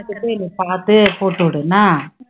நீ பாத்து போட்டு விடு என்னா,